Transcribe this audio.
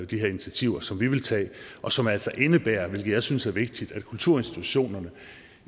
de her initiativer som vi vil tage og som altså indebærer hvilket jeg synes er vigtigt at kulturinstitutionerne